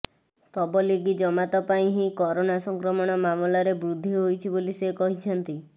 ତବଲିଗି ଜମାତ ପାଇଁ ହିଁ କରୋନା ସଂକ୍ରମଣ ମାମଲାରେ ବୃଦ୍ଧି ହୋଇଛି ବୋଲି ସେ କହିଛନ୍ତି